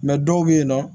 dɔw bɛ yen nɔ